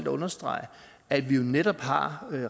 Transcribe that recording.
at understrege at vi jo netop har